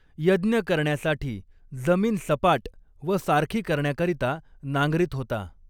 यज्ञ करण्यासाठी जमीन सपाट व सारखी करण्याकरिता नांगरीत होता.